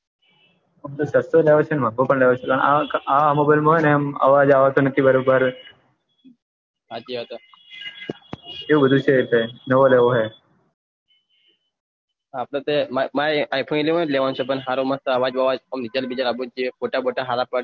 આપને તો my i phone eleven લેવાનો છે મસ્ત અવાજ બાવાજ રિજલ્ટ બીજલત આવું જોઈએ ફોટા બોટા હાર પડી